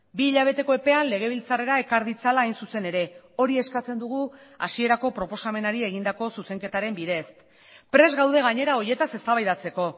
bi hilabeteko epean legebiltzarrera ekar ditzala hain zuzen ere hori eskatzen dugu hasierako proposamenari egindako zuzenketaren bidez prest gaude gainera horietaz eztabaidatzeko